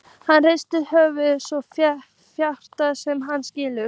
Hann hristir höfuðið, svo fátt sem hann skilur.